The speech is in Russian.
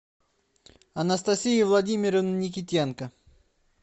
анастасии владимировны никитенко